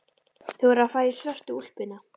Þú verður að fara í svörtu úlpuna.